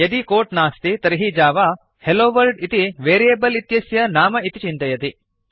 यदि कोट् नास्ति तर्हि जावा हेलोवर्ल्ड इतीदं वेरियेबल् इत्यस्य नाम इति चिन्तयति